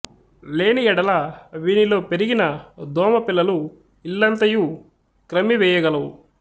లేని యెడల వీనిలో పెరిగిన దోమ పిల్లలు ఇల్లంతయు క్రమ్మి వేయ గలవు